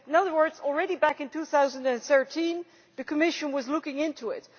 In other words, already back in 2013 the Commission was looking into it.